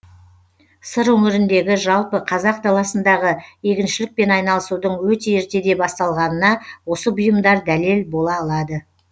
сыр өңіріндегі жалпы қазақ даласындағы егіншілікпен айналысудың өте ертеде басталғанына осы бұйымдар дәлел бола алады